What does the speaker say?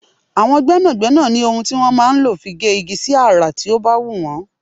Àwọn gbẹ́nàgbẹ́nà ní ohun tí wọn máa ń lò fi gé igi sí àrà tí ó bá wù wọ́n.